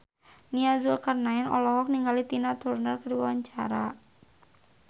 Nia Zulkarnaen olohok ningali Tina Turner keur diwawancara